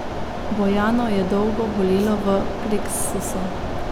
Bojano je dolgo bolelo v pleksusu.